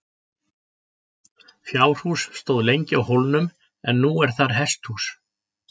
Fjárhús stóð lengi á hólnum en nú er þar hesthús.